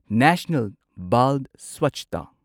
national ꯕꯥꯜ ꯁ꯭ꯋꯥꯆꯇꯥ